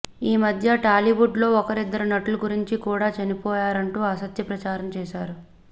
ఈ మద్యే టాలీవుడ్ లో ఒకరిద్దరు నటుల గురించి కూడా చనిపోయారంటూ అసత్య ప్రచారం చేసారు